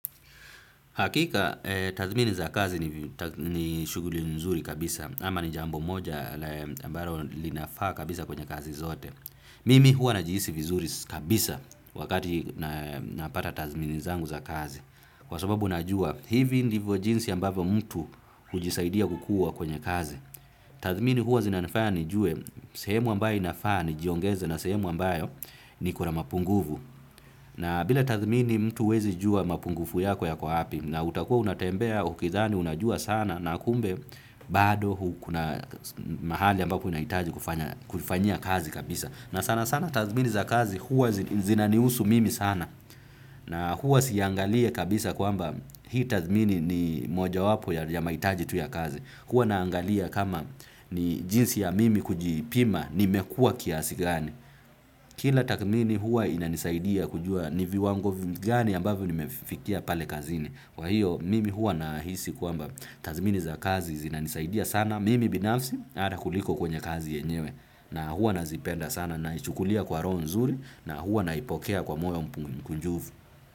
Hakika, tathmini za kazi ni shughuli nzuri kabisa, ama ni jambo moja ambalo linafaa kabisa kwenye kazi zote. Mimi huwa najihisi vizuri kabisa wakati napata tathmini zangu za kazi. Kwa sababu najua, hivi ndivyo jinsi ambavyo mtu hujisaidia kukuwa kwenye kazi. Tathmini huwa zinafanya ni jue, sehemu ambayo inafaa ni jiongeza na sehemu ambayo niko na mapungufu. Na bila tathmini mtu huwezi jua mapungufu yako yapo wapi na utakuwa unatembea ukidhani unajua sana na kumbe bado kuna mahali ambapo inahitaji kufanya kufanyia kazi kabisa. Na sana sana tathmini za kazi huwa zinanihusu mimi sana na huwa siangalia kabisa kwamba hii tathmini ni moja wapo ya mahitaji tu ya kazi. Huwa naangalia kama ni jinsi ya mimi kuji pima ni mekua kiasi gani. Kila tathmini huwa inanisaidia kujua niviwango gani ambavyo nimefikia pale kazini. Kwa hiyo mimi huwa nahisi kwamba tathmini za kazi zinanisaidia sana mimi binafsi ata kuliko kwenye kazi yenyewe na huwa nazipenda sana na ichukulia kwa roho nzuri na huwa naipokea kwa moyo mpungi mkujufu.